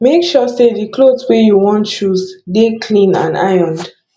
make sure sey di cloth wey you wan choose dey clean and ironed